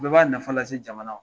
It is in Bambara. U bɛɛ b'a nafa lase jamana ma